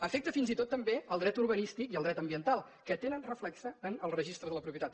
afecta fins i tot també el dret urbanístic i el dret ambiental que tenen reflex en el registre de la propietat